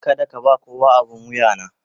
Kada ka ba kowa abin wuya na.